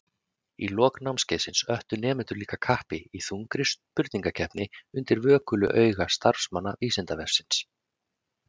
Í lok námskeiðsins öttu nemendur líka kappi í þungri spurningakeppni undir vökulu auga starfsmanna Vísindavefsins.